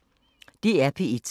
DR P1